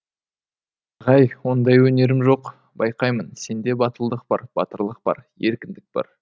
ағай ондай өнерім жоқ байқаймын сенде батылдық бар батырлық бар еркіндік бар